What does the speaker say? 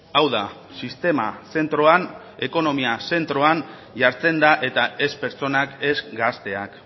hau da sistema zentroan ekonomia zentroan jartzen da eta ez pertsonak ez gazteak